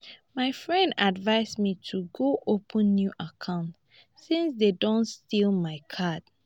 my friend advice me to go open new account since dey don steal my card